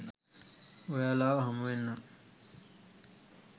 ඔයාලව හමුවෙන්නම්